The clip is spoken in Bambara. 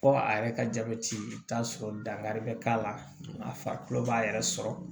Ko a yɛrɛ ka jabɛti i bi t'a sɔrɔ dankari bɛ k'a la a farikolo b'a yɛrɛ sɔrɔ